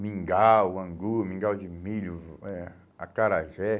mingau, angu, mingau de milho, eh acarajé.